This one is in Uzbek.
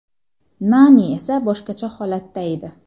Nani esa boshqacha holatda edi.